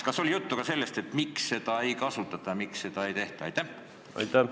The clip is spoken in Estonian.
Kas oli juttu ka sellest, miks seda siis ei kasutata, miks seda ei tehta?